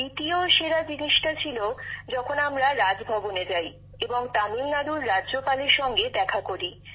দ্বিতীয় সেরা জিনিসটি ছিল যখন আমরা রাজভবনে যাই এবং তামিলনাড়ুর রাজ্যপালের সঙ্গে দেখা করি